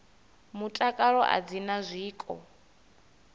mutakalo a dzi na zwiko